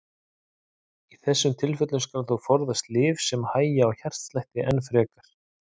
Í þessum tilfellum skal þó forðast lyf sem hægja á hjartslætti enn frekar.